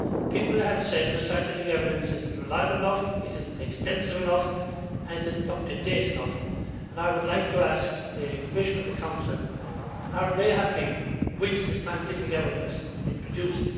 People have said that the scientific evidence is not reliable enough, it is not extensive enough and it is not up to date enough. I would like to ask the Commission and the Council are they happy with the scientific evidence that is being produced?